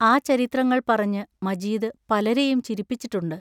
ആ ചരിത്രങ്ങൾ പറഞ്ഞ് മജീദ് പലരെയും ചിരിപ്പിച്ചിട്ടുണ്ട്.